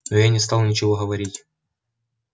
но я не стал ничего говорить